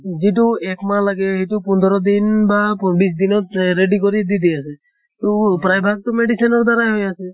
যিটো এক মাহ লাগে সেইটো পোন্ধৰ দিন বা বিছ দিনত এহ ready কৰি দি দিয়া যায়। তʼ প্ৰায় ভাগ্টো medicine ৰ দ্বাৰা হৈ আছে।